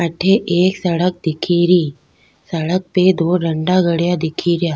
अठे एक सड़क दिखेरी सड़क पे दो डंडा गड़या दिखे रिया।